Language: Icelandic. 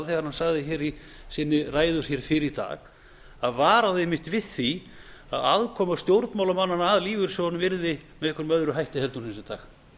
þegar hann sagði í sinni ræðu fyrr í dag hann varaði einmitt við því að afkoma stjórnmálamannanna að lífeyrissjóðunum virðist vera með einhverjum hætti heldur en hún er í dag